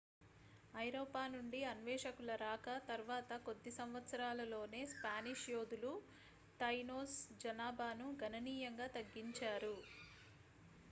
ఐరోపా నుండి అన్వేషకుల రాక తర్వాత కొద్ది సంవత్సరాలలోనే spanish యోధులు tainos జనాభాను గణనీయంగా తగ్గించారు